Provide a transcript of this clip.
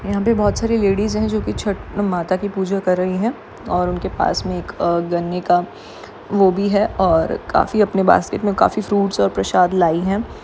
यहाँ पे बहुत सारी लेडीज है जोकि छठ माता की पुजा कर रही है और उनके पास मे एक अ गन्ने का वो भी है और काफी अपने बास्केट मे काफी फ्रूट्स और प्रशाद लाई है।